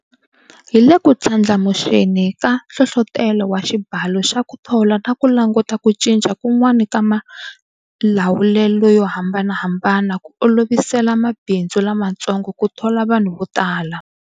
Hi le ku ndlandlamuxeni ka nhlohlotelo wa xibalo xa ku thola na ku languta ku cinca kun'wana ka malawulelo yo hambanahambana ku olovisela mabindzu lamatsongo ku thola vanhu vo tala.